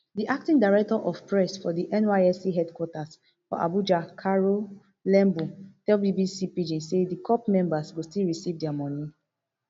di acting director of press for di nysc headquarters for abuja caro lembu tell bbc pidgin say di corps members go still receive dia money